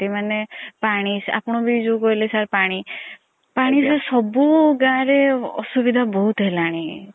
ମାନେ ପାଣି ଆପଣ ବି ଯୋଉ କହିଲେ ପାଣି ପାଣି ର ସବୁ ଗାଁ ରେ ଅସୁବିଧା ବହୁତ୍ ହେଲାଣି